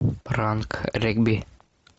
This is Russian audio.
пранк регби